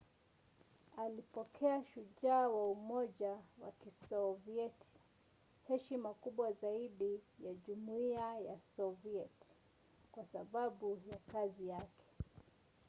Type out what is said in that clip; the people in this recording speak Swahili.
alipokea ‘shujaa wa umoja wa kisovieti’ heshima kubwa zaidi ya jumuiya ya sovieti kwa sababu ya kazi yake